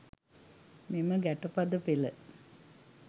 මෙම ගැටපද පෙළ